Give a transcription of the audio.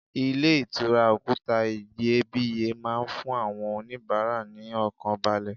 Ilé ìtura òkúta iyebíye máa ń fún àwọn onibaara ní ọkàn balẹ̀.